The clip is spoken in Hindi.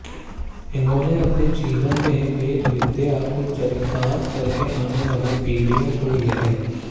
इन्होंने अपने जीवन में वेदविद्या को चरितार्थ करके आने वाली पीढि़यों को यह